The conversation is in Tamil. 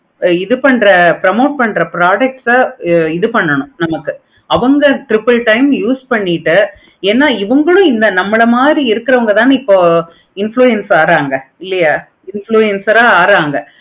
இது பண்ற promote பண்ற product ஆஹ் இது பண்ணனும்.